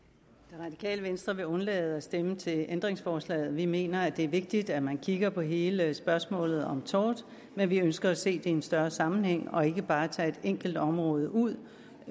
det radikale venstre vil undlade at stemme til ændringsforslaget vi mener det er vigtigt at man kigger på hele spørgsmålet om tort men vi ønsker at se det i en større sammenhæng og ikke bare tage et enkelt område ud